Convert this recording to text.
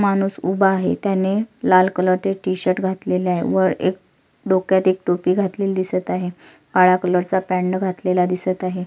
माणुस उभा आहे त्याने लाल कलरचे टीशर्ट घातलेले आहे व एक डोक्यात एक टोपी घातलेली दिसत आहे काळ्या कलरचा पॅन्ट घातलेला दिसत आहे.